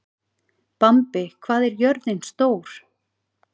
Bambi, hvað er jörðin stór?